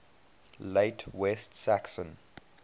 late west saxon